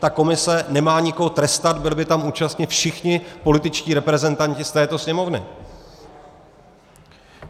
Ta komise nemá nikoho trestat, byli by tam účastni všichni političtí reprezentanti z této Sněmovny.